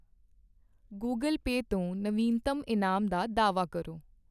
Google Pay ਤੋਂ ਨਵੀਨਤਮ ਇਨਾਮ ਦਾ ਦਾਅਵਾ ਕਰੋ।